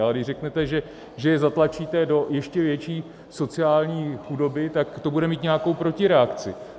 Ale když řeknete, že je zatlačíte do ještě větší sociální chudoby, tak to bude mít nějakou protireakci.